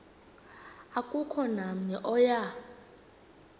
akukho namnye oya